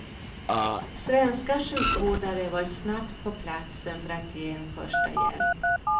Svenska sjukvårdare var snabbt på platsen för att ge en första hjälp.